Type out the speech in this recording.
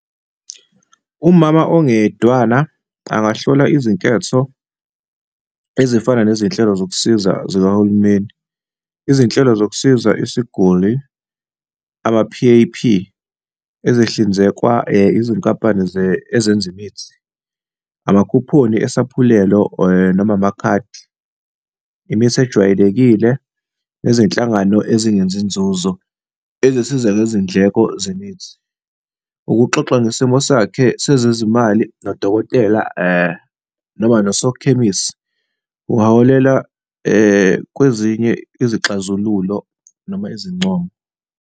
Umama ongeyedwana angakuhlola izinketho ezifana nezinhlelo zokusiza zikahulumeni, izinhlelo zokusiza isiguli, ama-P_A_P ezihlinzekwa izinkampani ezenza imithi, amakhuphoni esaphulelo noma amakhadi, imithi ejwayelekile nezinhlangano ezingenzinzuzo ezisiza ngezindleko zemithi. Ukuxoxa ngesimo sakhe sezezimali nodokotela noma nosokhemisi kungaholela kwezinye izixazululo noma izincomo.